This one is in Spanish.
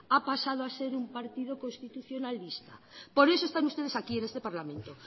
ha pasado a ser un partido constitucionalista por eso están ustedes aquí en este parlamento